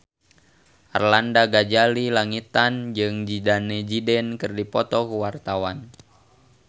Arlanda Ghazali Langitan jeung Zidane Zidane keur dipoto ku wartawan